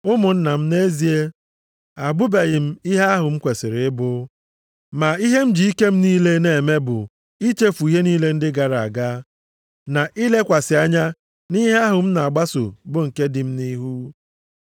Ụmụnna m, nʼezie, abụbeghị m ihe ahụ m kwesiri ịbụ. Ma ihe m ji ike m niile na-eme bụ ichefu ihe niile ndị gara aga, na ilekwasị anya nʼihe ahụ m na-agbaso bụ nke dị m nʼihu.